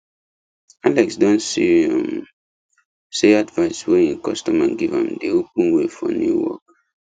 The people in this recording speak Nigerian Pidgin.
alex don see um say advice wey him customer give am dey open way for new work